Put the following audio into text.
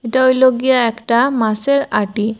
এটা হইলো গিয়া একটা মাছের আটি।